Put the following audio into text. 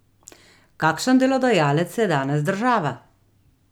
Kakšen delodajalec je danes država?